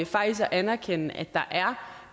faktisk at anerkende at der er